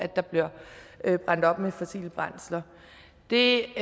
der bliver varmet op med fossile brændsler det